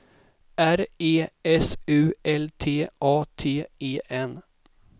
R E S U L T A T E N